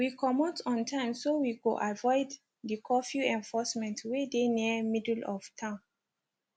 we comot on time so we go avoid di curfew enforcement wey dey near middle of town